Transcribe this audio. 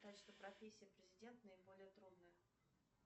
профессия президент наиболее трудная